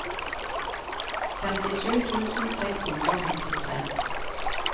femtisju tusen seks hundre og femtitre